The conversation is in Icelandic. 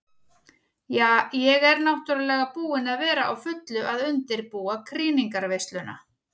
Ja, ég er náttúrulega búin að vera á fullu að undirbúa krýningarveisluna.